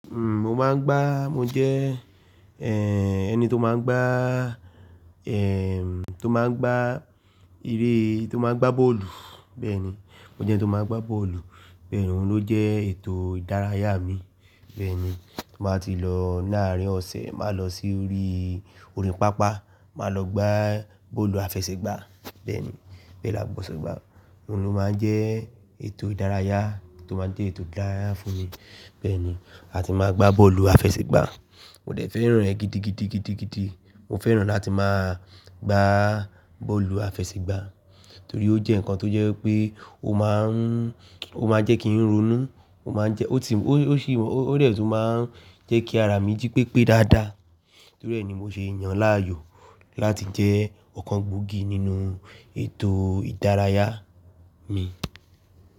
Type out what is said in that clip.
Mo máa ń gbá, mo jẹ́, ẹni tó máa ń gbá, tó máa ń gbá ereé, tó máa ń gbá bọ́ọ̀lù. Bẹ́ẹ̀ni, mo jẹ́ ẹni tó máa ń gbá bọ́ọ̀lù. Bẹ́ẹ̀ni, òun ló jẹ́ ètò ìdárayá mi. Bẹ́ẹ̀ni, tí mo bá ti lọ láàárín ọ̀sẹ̀, màá lọ sí oríi, orí pápá, màá lọ gbá bọ́ọ̀lù àfẹsẹ̀gbá. Bẹ́ẹ̀ni, bẹ́ẹ̀ la gbọ́ sọ gbá. Òun ló máa ń jẹ́ ètò ìdárayá tó máa ń jẹ́ ètò ìdárayá fún mi. Bẹ́ẹ̀ni, a ti máa ń gbá bọ́ọ̀lù àfẹsẹ̀gbá. Mo dẹ̀ fẹ́ràn rẹ̀ gidigidi, gidigidi. Mo fẹ́ràn láti máa gbá bọ́ọ̀lù àfẹsẹ̀gbá torí ó jẹ́ ǹkan tó jẹ́ pé ó máa ń, ó máa jẹ́ kí n ronú, ó máa ń jẹ́, ó tì, ó sì, ó dẹ̀ tun máa ń jẹ́ kí ara mi jí pépé dáadáa. Torí ẹ ni mo ṣe yàn láàyò láti jẹ́ ọ̀kan gbòógì nínú ètò ìdárayá mi.